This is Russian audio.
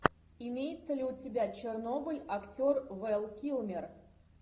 имеется ли у тебя чернобыль актер вэл килмер